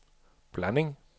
blanding